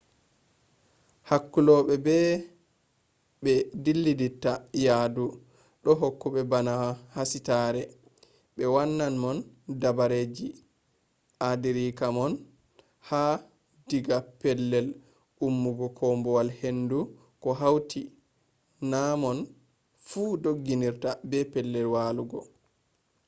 hakkulobe be bé dillata yadu do hokka bana hasitare be wannan mon dabareeji adirake mon ha/diga pellel ummugo koombowal-hendu ko hauti namon fu doggirde be pellel walugo